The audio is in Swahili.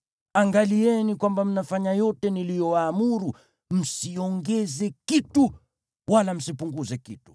Angalieni kwamba mnafanya yote niliyowaamuru; msiongeze kitu wala msipunguze kitu.